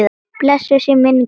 Blessuð sé minning Gumma.